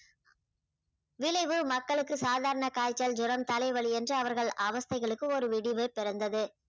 விளைவு மக்களுக்கு சாதாரண காய்ச்சல் ஜுரம் தலை வலி என்று அவர்கள் அவஸ்தைகளுக்கு ஒரு விடிவு பிறந்தது